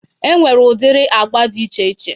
Enwere udiri agba dị iche iche